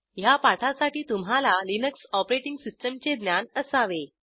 ह्या पाठासाठी तुम्हाला लिनक्स ऑपरेटिंग सिस्टीमचे ज्ञान असावे